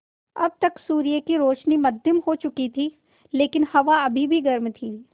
अब तक सूर्य की रोशनी मद्धिम हो चुकी थी लेकिन हवा अभी भी गर्म थी